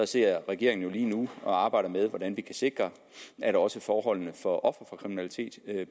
sidder regeringen lige nu og arbejder med hvordan vi kan sikre at også forholdene for ofre for kriminalitet